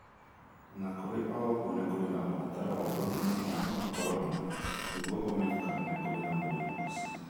O na kũrĩ ũguo, nĩ kũrĩ na ũbataro wa gũthima mũrimũ wa corona nĩguo ũmenye kana nĩ kũrĩ na mũrimũ ũcio.